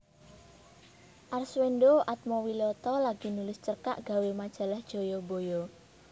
Arswendo Atmowiloto lagi nulis cerkak gawe majalah Jayabaya